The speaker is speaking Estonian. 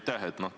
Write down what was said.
Aitäh!